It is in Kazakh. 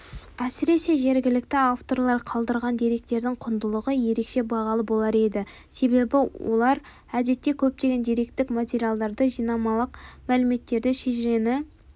әсіресе жергілікті авторлар қалдырған деректердің құндылығы ерекше бағалы болар еді себебі олар әдетте көптеген деректік материалдарды жылнамалық мәліметтерді шежірені